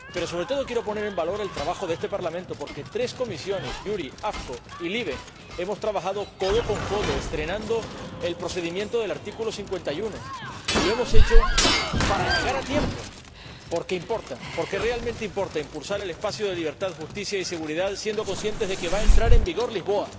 Pero, sobre todo, quiero poner en valor el trabajo de este Parlamento, porque tres comisiones, JURI, AFCO y LIBE, hemos trabajado codo con codo estrenando el procedimiento del artículo 51, y lo hemos hecho para llegar a tiempo, porque importa, porque realmente importa, impulsar el espacio de libertad, justicia y seguridad, siendo conscientes de que va a entrar en vigor Lisboa,